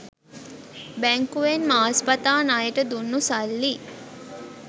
බැංකුවෙන් මාස් පතා ණයට දුන්නු සල්ලි